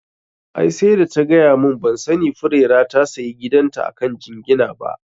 Ai sai da ta gaya mun, ban sani Furera ta sayi gidan ta akan jingina ba